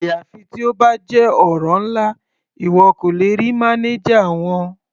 Àyàfi tí ó bá jẹ́ ọ̀rọ̀ ńlá, ìwọ kò lè rí mánájà wọn.